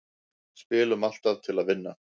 Spilum alltaf til að vinna